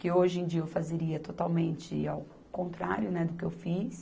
Que hoje em dia eu fazeria totalmente ao contrário, né, do que eu fiz.